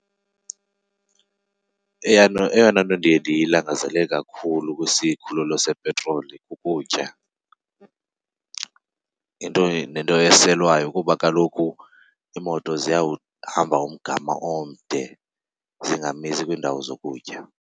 Eyona nto ndiye ndiyilangazelele kakhulu kwisikhululo sepetroli kukutya nento eselwayo, kuba kaloku iimoto ziyawuhamba umgama omde zingamisi kwiindawo zokutya.